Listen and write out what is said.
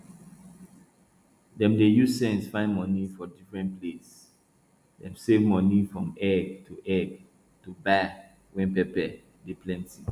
dem dey use sense find money for different place dem save money from egg to egg to buy when pepper dey plenty